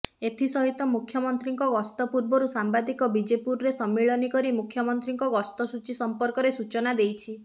ଏଥିସହିତ ମୁଖ୍ୟମନ୍ତ୍ରୀଙ୍କ ଗସ୍ତ ପୂର୍ବରୁ ସାମ୍ବାଦିକ ବିଜେପୁରରେ ସମ୍ମିଳନୀ କରି ମୁଖ୍ୟମନ୍ତ୍ରୀଙ୍କ ଗସ୍ତସୂଚୀ ସଂପର୍କରେ ସୂଚନା ଦେଇଛି